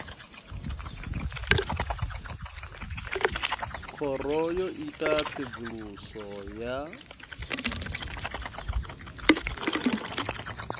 khoro yo ita tsedzuluso ya